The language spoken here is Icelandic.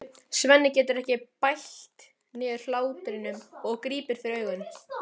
Svenni getur ekki bælt niðri hláturinn og grípur fyrir augun.